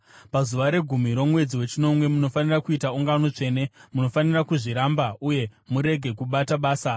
“ ‘Pazuva regumi romwedzi wechinomwe munofanira kuita ungano tsvene. Munofanira kuzviramba uye murege kubata basa.